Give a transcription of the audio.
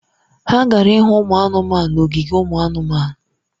Ha gara ịhụ ụmụ anụmanụ n’ogige ụmụ anụmanụ.